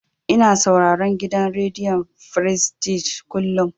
Ina sauraron gidan rediyon frestij kullum.